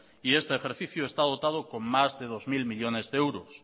y este ejercicio está dotado con más de dos mil millónes de euros